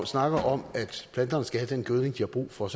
snakker om at planterne skal have den gødning de har brug for